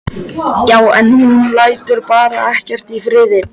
Já, en hún lætur bara ekkert í friði.